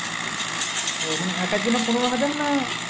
ও মানে একার জন্য পনেরো হাজার না